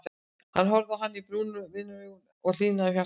Hann horfði á hana brúnum vinaraugum og henni hlýnaði um hjartaræturnar.